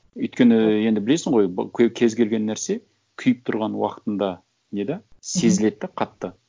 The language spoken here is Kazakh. өйткені енді білесің ғой кез келген нәрсе күйіп тұрған уақытында не де сезіледі де қатты